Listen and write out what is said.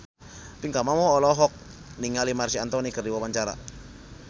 Pinkan Mambo olohok ningali Marc Anthony keur diwawancara